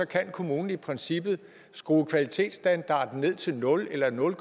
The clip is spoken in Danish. kan kommunen i princippet skrue kvalitetsstandarden ned til nul eller nul